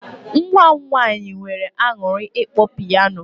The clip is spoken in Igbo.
Nwa m nwaanyị nweere aṅụrị ịkpọ piano.